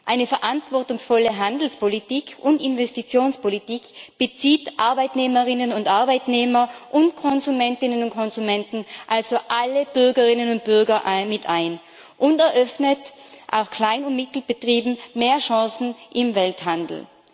Eine verantwortungsvolle Handelspolitik und Investitionspolitik bezieht Arbeitnehmerinnen und Arbeitnehmer und Konsumentinnen und Konsumenten, also alle Bürgerinnen und Bürger, mit ein und eröffnet auch Klein und Mittelbetrieben mehr Chancen im Welthandel.